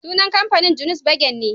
Sunan kamfanin, Julius Berger ne